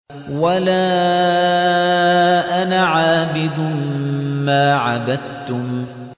وَلَا أَنَا عَابِدٌ مَّا عَبَدتُّمْ